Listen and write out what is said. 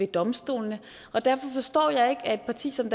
domstolene derfor forstår jeg ikke at et parti som